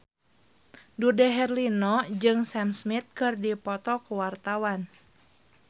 Dude Herlino jeung Sam Smith keur dipoto ku wartawan